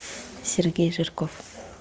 сергей жирков